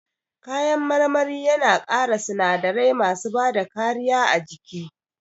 Kayan marmari yana ƙara sinadarai masu bada kariya a jiki